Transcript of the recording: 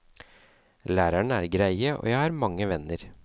Lærerne er greie, og jeg har mange venner.